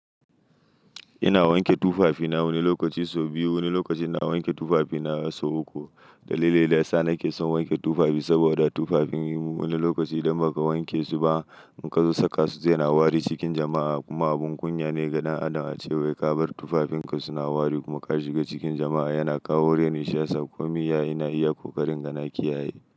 Ina wanke tufafi na wani lokaci sau biyu, wani lokacin na wanke tufafi na sau uku. Dalilin da ya sa nake son wanke tufafi saboda tufafin wani lokaci idan ba ka wanke su ba in ka zo saka su zai na wari cikin jama'a kuma abun kunya ne ga ɗan Adam ace wai ka bar tufafinka suna wari kuma ka shiga cikin jama'a yana kawo reni shi yasa komi Ya yana iya ƙoƙarin inga naki yaye.